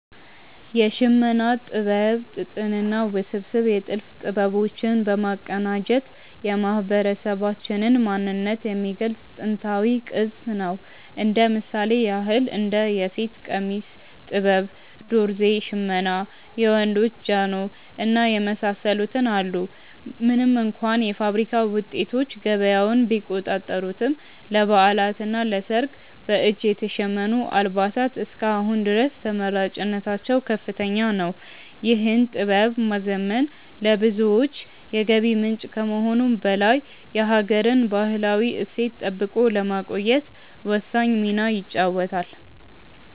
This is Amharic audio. የሽመና ጥበብ ጥጥንና ውስብስብ የጥልፍ ጥበቦች በማቀናጀት የማህበረሰባችንን ማንነት የሚገልጽ ጥንታዊ ቅርስ ነው። እንደ ምሳሌ ያክል እንደ የሴት ቀሚስ ጥበብ፣ ዶርዜ ሽመና፣ የወንዶች ጃኖ እና የመሳሰሉትን አሉ። ምንም እንኳ የፋብሪካ ውጤቶች ገበያውን ቢቆጣጠሩትም፣ ለበዓላትና ለሰርግ በእጅ የተሸመኑ አልባሳት እስከ አሁን ድረስ ተመራጭነታቸው ከፍተኛ ነው። ይህን ጥበብ ማዘመን ለብዙዎች የገቢ ምንጭ ከመሆኑም በላይ የሀገርን ባህላዊ እሴት ጠብቆ ለማቆየት ወሳኝ ሚና ይጫወታል።